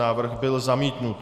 Návrh byl zamítnut.